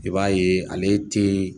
I b'a ye ale te